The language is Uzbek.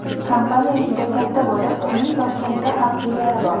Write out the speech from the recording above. Kompaniya juda katta bo‘lib, uning Toshkentda ham filiali bor.